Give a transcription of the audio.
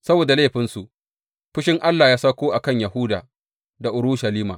Saboda laifinsu, fushin Allah ya sauko a kan Yahuda da Urushalima.